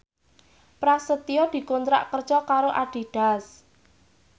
Prasetyo dikontrak kerja karo Adidas